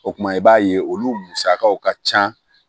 O kuma i b'a ye olu musakaw ka ca